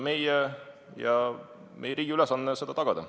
Meie ja meie riigi ülesanne on see tagada.